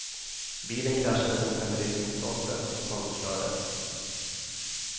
Bilen kraschade mot en belysningsstolpe och totalförstördes.